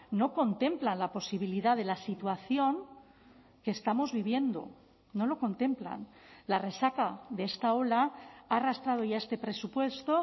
no contemplan la posibilidad de la situación que estamos viviendo no lo contemplan la resaca de esta ola ha arrastrado ya este presupuesto